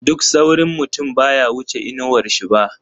Duk saurin mutum baya wuce inawar shi ba.